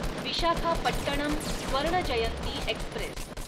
Visakhapatnam Swarna Jayanti Express